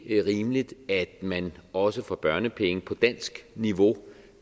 rimeligt at man også får børnepenge på dansk niveau